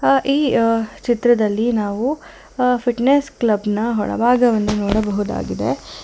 ಅ ಈ ಅ ಚಿತ್ರದಲ್ಲಿ ನಾವು ಅ ಫಿಟ್ನೆಸ್ ಕ್ಲಬ್ ನ ಒಳಭಾಗವನ್ನು ನೋಡಬಹುದಾಗಿದೆ.